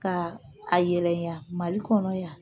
Ka a yɛlɛ ya mali kɔnɔ yan